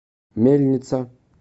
мельница